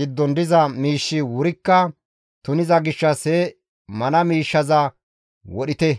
giddon diza miishshi wurikka tuniza gishshas he mana miishshaza wodhite.